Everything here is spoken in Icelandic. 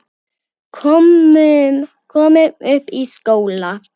Komum upp í skóla!